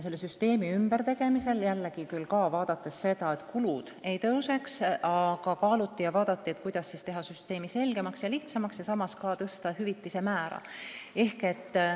Selle süsteemi ümbertegemisel vaadati küll seda, et kulud ei kasvaks, aga mõeldi, kuidas siiski teha süsteem selgemaks ja lihtsamaks ning samas ka tõsta hüvitise määra.